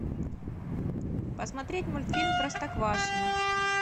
посмотреть мультфильм простоквашино